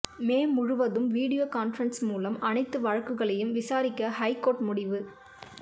மே முழுவதும் video conferencing மூலம் அனைத்து வழக்குகளையும் விசாரிக்க ஹைகோர்ட் முடிவு